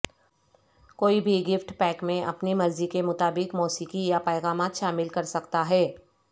کوئی بھی gift pack میں اپنی مرضی کے مطابق موسیقی یا پیغامات شامل کرسکتا ہے